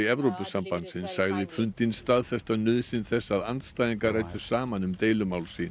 Evrópusambandsins sagði fundinn staðfesta nauðsyn þess að andstæðingar ræddu saman um deilumál sín